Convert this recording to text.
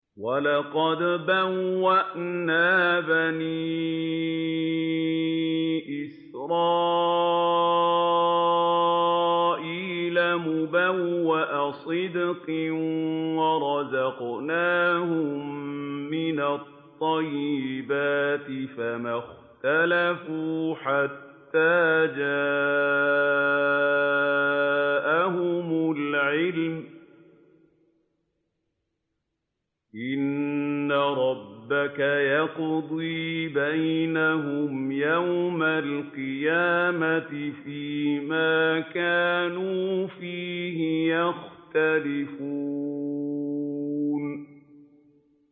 وَلَقَدْ بَوَّأْنَا بَنِي إِسْرَائِيلَ مُبَوَّأَ صِدْقٍ وَرَزَقْنَاهُم مِّنَ الطَّيِّبَاتِ فَمَا اخْتَلَفُوا حَتَّىٰ جَاءَهُمُ الْعِلْمُ ۚ إِنَّ رَبَّكَ يَقْضِي بَيْنَهُمْ يَوْمَ الْقِيَامَةِ فِيمَا كَانُوا فِيهِ يَخْتَلِفُونَ